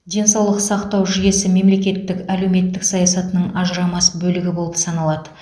денсаулық сақтау жүйесі мемлекеттің әлеуметтік саясатының ажырамас бөлігі болып саналады